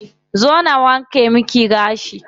Zo na wanke miki gashi.